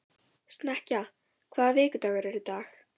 Snekkja, hvaða vikudagur er í dag?